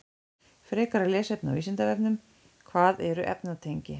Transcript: Frekara lesefni á Vísindavefnum: Hvað eru efnatengi?